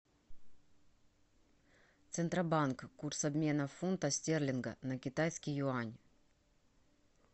центробанк курс обмена фунта стерлинга на китайский юань